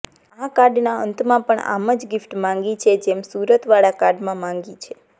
આ કાર્ડના અંતમાં પણ આમ જ ગિફ્ટ માંગી છે જ સુરતવાળા કાર્ડમાં માંગી છે